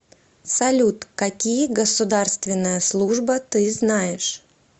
салют какие государственная служба ты знаешь